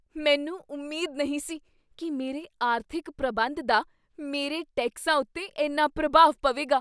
ਮੈਨੂੰ ਉਮੀਦ ਨਹੀਂ ਸੀ ਕੀ ਮੇਰੇ ਆਰਥਿਕ ਪ੍ਰਬੰਧ ਦਾ ਮੇਰੇ ਟੈਕਸਾਂ ਉੱਤੇ ਇੰਨਾ ਪ੍ਰਭਾਵ ਪਵੇਗਾ।